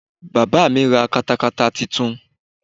Bàbá mí ra katakata titun